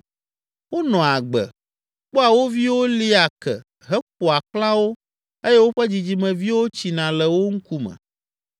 Wonɔa agbe, kpɔa wo viwo lia ke heƒoa xlã wo eye woƒe dzidzimeviwo tsina le wo ŋkume.